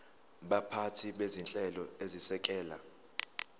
baphathi bezinhlelo ezisekela